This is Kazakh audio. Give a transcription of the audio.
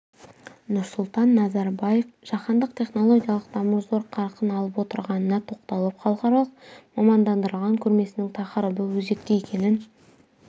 нұрсұлтан назарбаев жаһандық технологиялық даму зор қарқын алып отырғанына тоқталып халықаралық мамандандырылған көрмесінің тақырыбы өзекті екенін